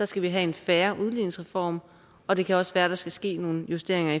skal have en fair udligningsreform og det kan også være der skal ske nogle justeringer